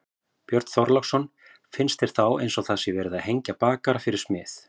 Björn Þorláksson: Finnst þér þá eins og það sé verið að hengja bakara fyrir smið?